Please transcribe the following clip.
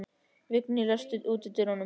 Vigný, læstu útidyrunum.